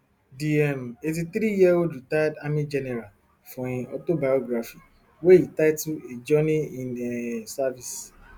di um eighty-threeyearold retired army general for im autobiography wey e title a journey in um service